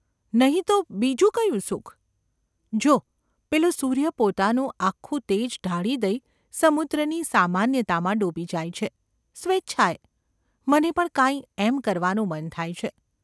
નહિ તો બીજું કયું સુખ ?’ ‘જો પેલો સૂર્ય પોતાનું આખું તેજ ઢાળી દઈ સમુદ્રની સામાન્યતામાં ડૂબી જાય છે – સ્વેચ્છાએ ! મને પણ કાંઈ એમ કરવાનું મન થાય છે.